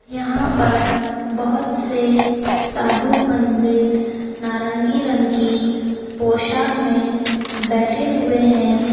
यहां पर बहुत से साधु पंडित नारंगी पोशाक में बैठे हुए है।